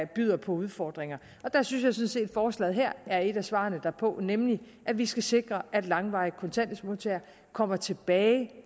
byder på udfordringer der synes jeg sådan set forslaget her er et af svarene herpå nemlig at vi skal sikre at modtagere af langvarig kontanthjælp kommer tilbage